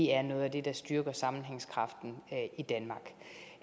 er noget af det der styrker sammenhængskraften i danmark